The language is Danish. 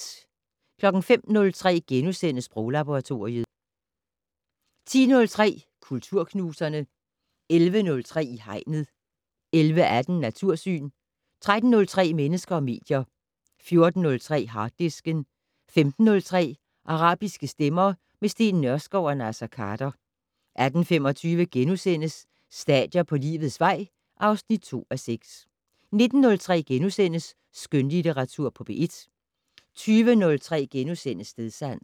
05:03: Sproglaboratoriet * 10:03: Kulturknuserne 11:03: I Hegnet 11:18: Natursyn 13:03: Mennesker og medier 14:03: Harddisken 15:03: Arabiske stemmer - med Steen Nørskov og Naser Khader 18:25: Stadier på livets vej (2:6)* 19:03: Skønlitteratur på P1 * 20:03: Stedsans *